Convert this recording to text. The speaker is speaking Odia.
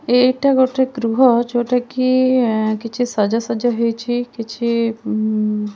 ଏଇଟା ଗୋଟେ ଗୃହ ଯୋଉଟାକି ଏ କିଛି ସଜା ସଜା ହେଇଚି କିଛି ଅମ୍--